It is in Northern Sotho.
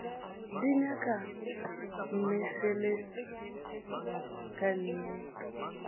di nyaka mmešelet ka nnete